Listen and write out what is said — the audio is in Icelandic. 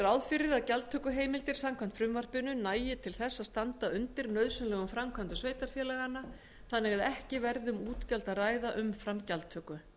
ráð fyrir að gjaldtökuheimildir samkvæmt frumvarpinu nægi til þess að standa undir nauðsynlegum framkvæmdum sveitarfélaganna þannig að ekki verði um útgjöld að ræða umfram gjaldtöku